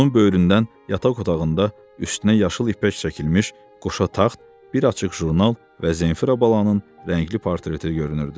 Onun böyründən yataq otağında üstünə yaşıl ipək çəkilmiş qoşa taxt, bir açıq jurnal və Zenfira balanın rəngli portreti görünürdü.